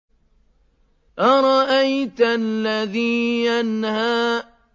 أَرَأَيْتَ الَّذِي يَنْهَىٰ